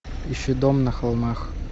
ищи дом на холмах